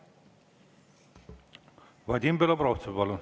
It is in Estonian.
Vadim Belobrovtsev, palun!